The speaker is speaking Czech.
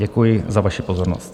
Děkuji za vaši pozornost.